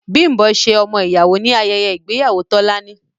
Bimbo ṣe ọmọ ìyàwó ní ayẹyẹ ìgbéyàwó Tọ́lání.